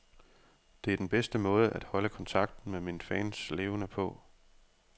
Det er den bedste måde at holde kontakten med mine fans levende på.